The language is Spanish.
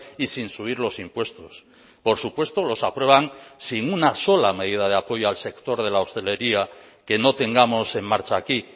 y sin subir los impuestos por supuesto los aprueban sin una sola medida de apoyo al sector de la hostelería que no tengamos en marcha aquí